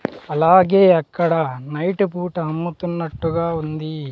అలాగే అక్కడ నైట్ పూట అమ్ముతున్నట్టుగా ఉందీ.